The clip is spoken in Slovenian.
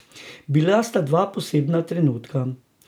Bila sta dva posebna trenutka.